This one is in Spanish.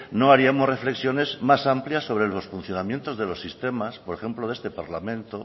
no haríamos reflexiones más amplias sobre el funcionamiento de los sistemas por ejemplo de este parlamento